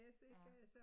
Ja